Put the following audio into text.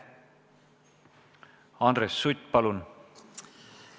Andres Sutt, palun!